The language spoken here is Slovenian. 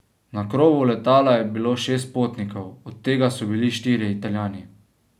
Na krovu letala je bilo šest potnikov, od tega so bili štirje Italijani.